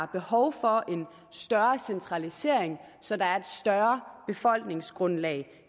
behov for en større centralisering så der er et større befolkningsgrundlag